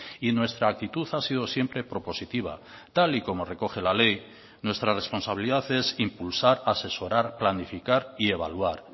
y nuestra actitud ha sido siempre propositiva tal y como recoge la ley nuestra responsabilidad es impulsar asesorar planificar y evaluar